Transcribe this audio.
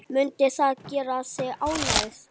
Mundi það gera þig ánægða?